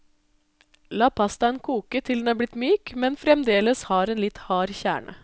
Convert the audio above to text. La pastaen kokke til den er blitt myk, men fremdeles har en litt hard kjerne.